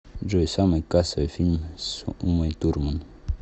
джой самый кассовый фильм с умой турман